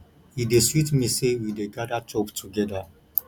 e dey sweet me sey we dey gada chop togeda